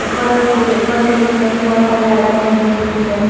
ऊपर से ऊपर से सीलिंग में भी बहुत सारी लाइटें लगी हुई है।